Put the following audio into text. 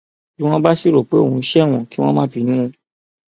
bí wọn bá sì rò pé òun ṣe wọn kí wọn má bínú